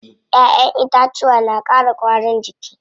Ƴaƴen itacuwa na ƙara ƙwarin jiki.